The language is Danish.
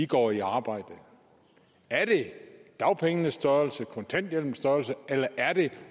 går i arbejde er det dagpengenes størrelse og kontanthjælpens størrelse eller er det